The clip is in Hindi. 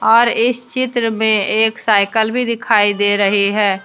और इस चित्र में एक साइकल भी दिखाई दे रही है।